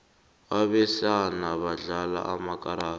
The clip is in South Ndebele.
abesana badlala amakarada